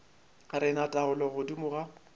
re na taolo godimo ga